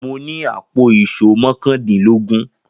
Mo ní àpò ìṣó mọ́kàndînlógún.